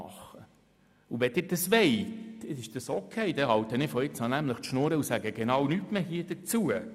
Wenn Sie dies wollen, ist es okay, dann halte ich ab jetzt den Mund und sage nichts mehr dazu.